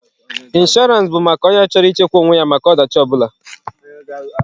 Inshọrance bụ maka onye chọrọ ị chekwa onwe ya maka ọ dachi ọ bụla.